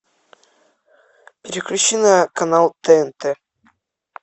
переключи на канал тнт